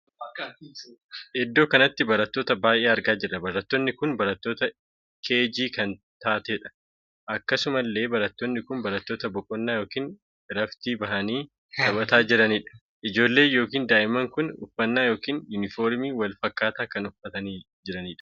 Iddoo kanatti barattoota baay'ee argaa jirra barattoonni kun barattoota keegii kan taateedha. akkasuma illee barattoonni kun barattoota boqonnaa ykn iraftii baahanii taphataa jiranidha. ijoollee ykn daa'imni kun uffannaa ykn yunifoormii wal fakkaataa kan kan uffatanii jiranidha.